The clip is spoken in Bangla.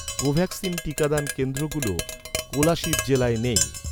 কোভ্যাক্সিন টিকাদান কেন্দ্রগুলো কোলাশিব জেলায় নেই